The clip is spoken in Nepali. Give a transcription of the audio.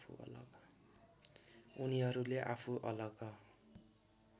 उनीहरूले आफू अलग